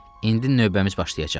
İndi növbəmiz başlayacaq.